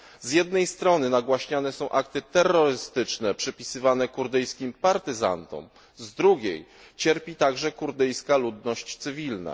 Z jednej strony nagłaśniane są akty terrorystyczne przypisywane kurdyjskim partyzantom, z drugiej cierpi także kurdyjska ludność cywilna.